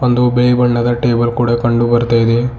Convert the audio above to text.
ಒಂದು ಬಿಳಿ ಬಣ್ಣದ ಟೇಬಲ್ ಕೂಡ ಕಂಡುಬರ್ತಾಯಿದೆ.